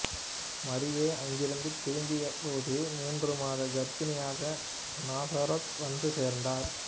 மரியா அங்கிருந்து திரும்பியபோது மூன்று மாத கர்ப்பிணியாக நாசரேத் வந்து சேர்ந்தார்